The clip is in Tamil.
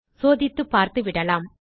சோதித்து பார்த்துவிடலாம்